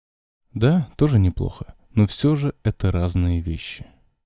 да тоже неплохо но всё же это разные вещи